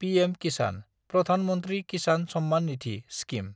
PM-Kisan (Pradhan Mantri Kisan Samman Nidhi) scheme